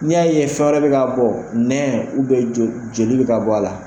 Ni y'a ye fɛn wɛrɛ bɛ ka bɔ, nɛn jo joli bɛ ka bɔ a la,